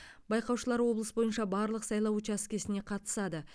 байқаушылар облыс бойынша барлық сайлау учаскесіне қатысады